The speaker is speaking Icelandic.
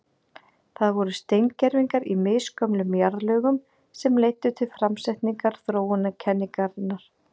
Það voru steingervingar í misgömlum jarðlögum sem leiddu til framsetningar þróunarkenningarinnar.